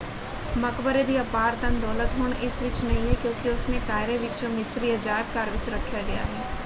ਮਕਬਰੇ ਦੀ ਅਪਾਰ ਧੰਨ ਦੌਲਤ ਹੁਣ ਇਸ ਵਿੱਚ ਨਹੀਂ ਹੈ ਕਿਉਂਕਿ ਉਸਨੂੰ ਕਾਇਰੋ ਵਿੱਚ ਮਿਸਰੀ ਅਜਾਇਬ ਘਰ ਵਿੱਚ ਰੱਖਿਆ ਗਿਆ ਹੈ।